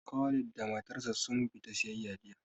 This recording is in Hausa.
Khalid da matar sa sun fita siyayya jiya